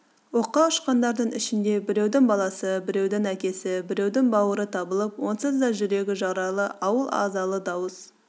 оққа ұшқандардың ішінде біреудің баласы біреудің әкесі біреудің бауыры табылып онсыз да жүрегі жаралы ауыл азалы дауыс